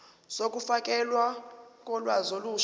zokufakelwa kolwazi olusha